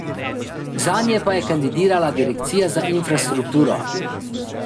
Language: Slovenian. Zanje pa je kandidirala direkcija za infrastrukturo.